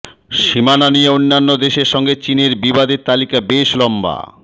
সীমানা নিয়ে অন্যান্য দেশের সঙ্গে চীনের বিবাদের তালিকা বেশ লম্বা